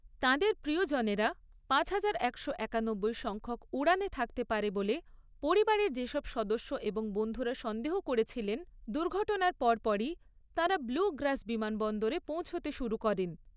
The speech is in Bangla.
তাঁদের প্রিয়জনেরা পাঁচহাজার একশো একানব্বই সংখ্যক উড়ানে থাকতে পারে বলে পরিবারের যেসব সদস্য এবং বন্ধুরা সন্দেহ করেছিলেন, দুর্ঘটনার পরপরই তাঁরা ব্লু গ্রাস বিমানবন্দরে পৌঁছাতে শুরু করেন।